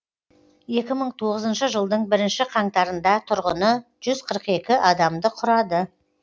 екі мың тоғызыншы жылдың бірінші қаңтарында тұрғыны жүз қырық екі адамды құрады